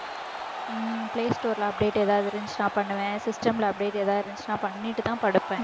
ஹம் play store ல update ஏதாவது இருந்துச்சுன்னா பண்ணுவேன் system ல update ஏதாவது இருந்துச்சுன்னா பண்ணிட்டுதான் படுப்பேன்